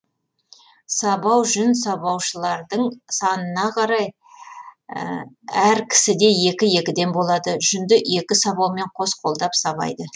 сабау жүн сабаушылардың санына қарай әр кісіде екі екіден болады жүнді екі сабаумен қос қолдап сабайды